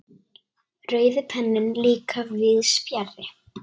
Rauði penninn líka víðs fjarri.